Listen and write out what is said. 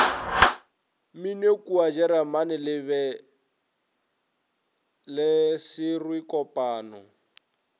mminokua jeremane le bele swerekopano